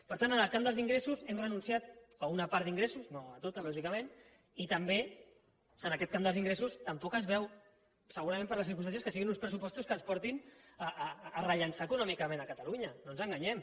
per tant en el camp dels ingressos hem renunciat a una part d’ingressos no a tots lògicament i també en aquest camp dels ingressos tampoc es veuen segurament per les circumstàncies que siguin uns pressupostos que ens portin a rellançar econòmicament catalunya no ens enganyem